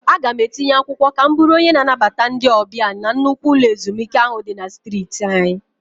Aga m etinye akwụkwọ ka m bụrụ onye na-anabata ndị ọbịa na nnukwu ụlọ ezumike ahụ dị na streeti anyị.